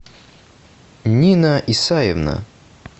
нина исаевна